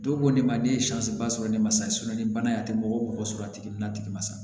Dɔw ko ne ma ne ye ba sɔrɔ ne ma sa ni bana y'a tɛ mɔgɔ mɔgɔ sɔrɔ a tigi na tigi ma sa